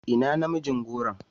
Ina namijin goron?